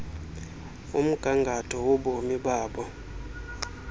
umgangatho wobomi babo